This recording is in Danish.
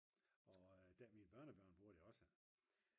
og mine børnebørn bruger det også